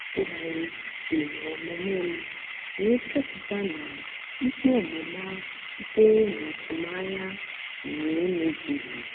a tụgharịrị uche n'omume m wee chọpụta na ikpe ọmụma sitere n'atụmanya na-emezughị.